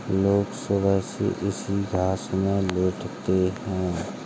लोग सुबह से इसी घास मे लेटते हैं।